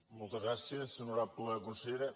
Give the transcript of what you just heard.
moltes gràcies honorable consellera